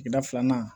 Sigida filanan